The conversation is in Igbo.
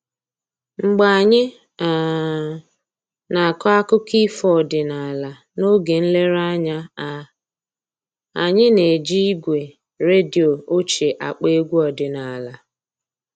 Mgbe anyị um na-akọ akụkọ ifo ọdịnaala n'oge nlereanya a, anyị na-eji igwe redio ochie akpọ egwu ọdịnaala